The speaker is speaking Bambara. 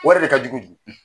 O yɛrɛ de ka jugu bi.